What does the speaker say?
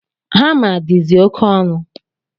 Hama dizi oke onu